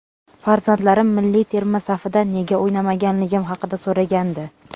Farzandlarim milliy terma safida nega o‘ynamaganligim haqida so‘ragandi.